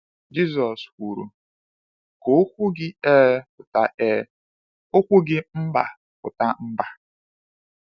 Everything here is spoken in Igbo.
Jisọs kwuru: “Ka okwu gị ‘Ee’ pụta ‘Ee’, okwu gị ‘Mba’ pụta ‘Mba.’”